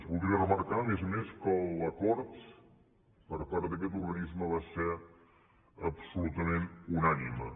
voldria remarcar a més a més que l’acord per part d’aquest organisme va ser absolutament unànime